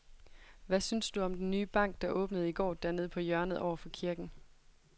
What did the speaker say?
Hvad synes du om den nye bank, der åbnede i går dernede på hjørnet over for kirken?